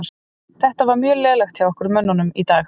Þetta var mjög lélegt hjá okkar mönnum í dag.